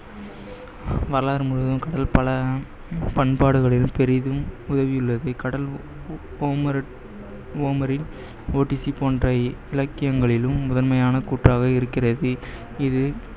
பண்பாடுகளில் பெரிதும் உதவியுள்ளது. கடல் ஹோமர், ஒடிசி போன்ற இலக்கியங்களிலும் முதன்மையான கூற்றாகவே இருக்கிறது. இது